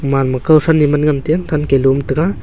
manma kau than ne man ngan te than te dum tega.